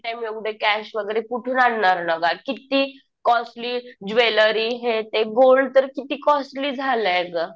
Eight a time एवढे cash वगैरे कुठून आणणार ना गं. किती कॉस्टली ज्वेलरी हे ते. गोल्ड तर किती कॉस्टली झालंय अगं.